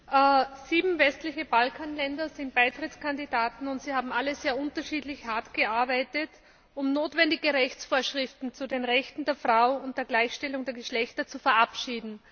Frau Präsidentin! Sieben westliche Balkanländer sind Beitrittskandidaten, und sie haben alle sehr unterschiedlich hart gearbeitet, um notwendige Rechtsvorschriften zu den Rechten der Frau und der Gleichstellung der Geschlechter zu verabschieden.